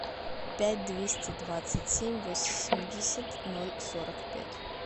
пять двести двадцать семь восемьдесят ноль сорок пять